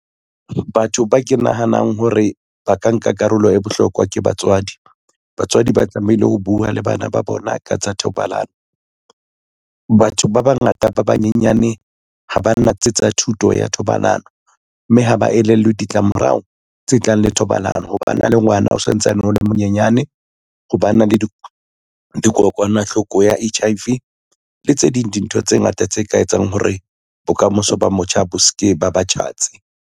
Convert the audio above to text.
Batho ba ke nahanang hore ba ka nka karolo e bohlokwa ke batswadi. Batswadi ba tlamehile ho bua le bana ba bona ka tsa thobalano. Batho ba bangata ba banyenyane ha ba natse tsa thuto ya thobalano, mme ha ba elellwe ditlamorao tse tlang le thobalano, ho ba na le ngwana o santsane o le monyenyane, ho ba na le dikokwanahloko ya H_I_V le tse ding di ntho tse ngata tse ka etsang hore bokamoso ba motjha bo ske ba ba tjhatsi.